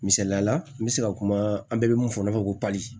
Misaliyala n bɛ se ka kuma an bɛɛ bɛ mun fɔ n'a fɔ ko pali